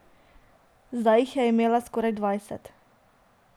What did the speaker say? Zdaj jih je imela skoraj dvajset.